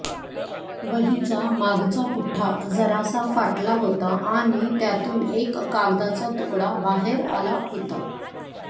वहीचा मागचा पुठ्ठा जरासा फाटला होता आणि त्यातून एक कागदाचा तुकडा बाहेर आला होता